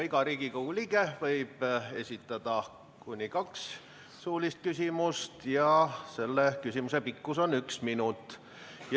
Iga Riigikogu liige võib esitada kuni kaks suulist küsimust ja küsimuse pikkus on üks minut.